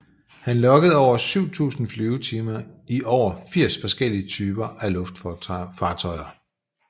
Han loggede over 7000 flyvetimer i over 80 forskellige typer af luftfartøjer